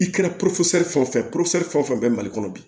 I kɛra fɛn o fɛn fɛn o fɛn bɛ mali kɔnɔ bi